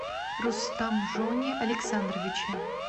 рустамжоне александровиче